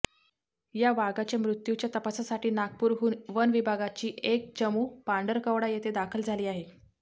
या वाघाच्या मृत्यूच्या तपासासाठी नागपूरहून वन विभागाची एक चमू पांढरकवडा येथे दाखल झाली आहे